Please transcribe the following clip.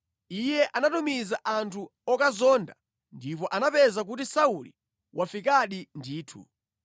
iye anatumiza anthu okazonda ndipo anapeza kuti Sauli wafikadi ndithu.